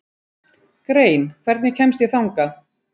Grein, hvernig kemst ég þangað?